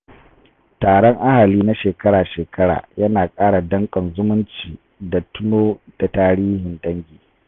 Taron ahali na shekara-shekara ya na kara danƙon zumunci da tuno da tarihin dangi.